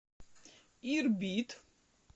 ирбит